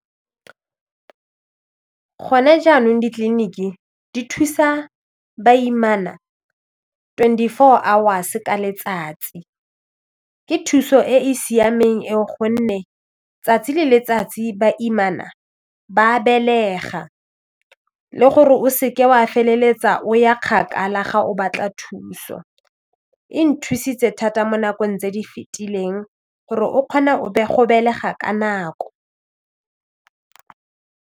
Gone jaanong ditleliniki di thusa baimana twenty four hours ka letsatsi ke thuso e e siameng eo gonne tsatsi le letsatsi baimana ba belega le gore o se ke wa feleletsa o ya kgakala ga o batla thuso e nthusitse thata mo nakong tse di fetileng gore o kgona go belega ka nako.